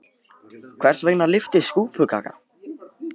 Hvers vegna lyftist skúffukaka?